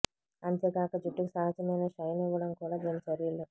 అంతేకాక జుట్టుకు సహజమైన షైన్ ఇవ్వడం కూడా దీని చర్యలు